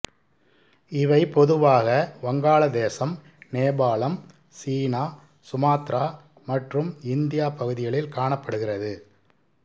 இவை பொதுவாக வங்காளதேசம் நேபாளம் சீனா சுமாத்திரா மற்றும் இந்தியா பகுதிகளில் காணப்படுகிறது